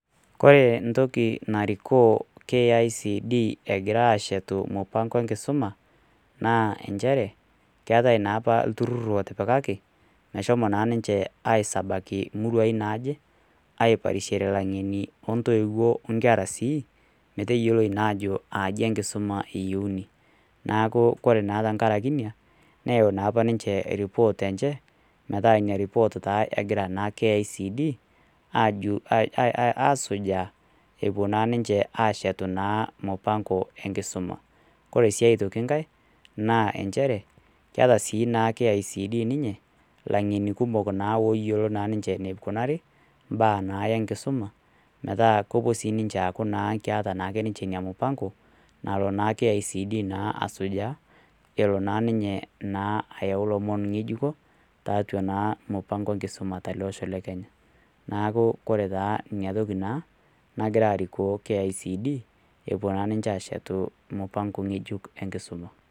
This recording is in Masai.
Kore entoki narikoo KICD egirai aashetu mupang'o enkisuma, naa nchere, keatai naa opa olturur lotipikaki, meshomo naa ninche aisabaki imuruai naaje, aiparishore intoiwuo, olaing'eni, o inkera sii, metaa eyooi naa ajo etaa enkisuma eyouni. Neaku naa ore naa tenkaraki ina, neyau naa opa ninche eripot enche, metaa iina report naa egira KICD, asujaa, epuo naa ninche aashetu naa emupang'o e enkisuma. Kore sii aitoki enkai, naa nchere, keta naa KICD ninye, ilaing'eni kumok naa looyiolo ninye , eneikunari naa baa naa enkisuma, metaa kepuo naaku sininche metaa keata naa sininche ina mupango, nalo naa KICD naa asujaa, elo naa ninye ayau ilomon ng'ejuko, tiatua naa mupang'o enkisuma tele osho le Kenya. Neaku naa inatoki naa nagira arikoo KICD, epuo naa ninche aashetu mupang'o ng'ejuk enkisuma.